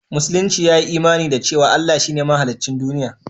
Musulunci ya yi imani da cewa Allah shi ne mahaliccin duniya